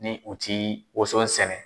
Ni u ti woson sɛnɛ